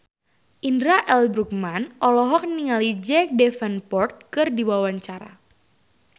Indra L. Bruggman olohok ningali Jack Davenport keur diwawancara